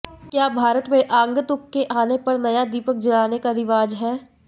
क्या भारत में आगंतुक के आने पर नया दीपक जलाने का रिवाज है